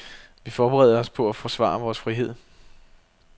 Vi forbereder os på at forsvare vores frihed.